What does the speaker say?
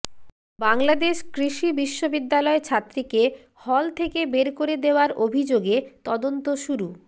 বাংলাদেশ কৃষি বিশ্ববিদ্যালয় ছাত্রীকে হল থেকে বের করে দেওয়ার অভিযোগে তদন্ত শুরু